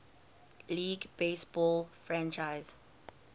league baseball franchise